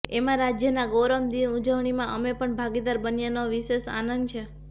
એમાં રાજયના ગૌરવ દિન ઉજવણીમાં અમે પણ ભાગીદાર બન્યાનો વિશેષ આનંદ છે